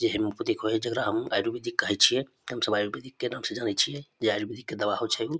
जेहेम कुदी कोहे जेकरा हम आयुर्वेदिक कहे छिये हम सब आयुर्वेदिक के नाम से जाने छिये जे आयुर्वेदिक के दवा होछे उ।